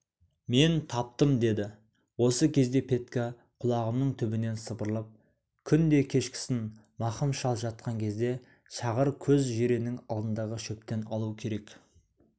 мен таптым деді осы кезде петька құлағымның түбінен сыбырлап күнде кешкісін мақым шал жатқан кезде шағыр көз жиреннің алдындағы шөптен алу керек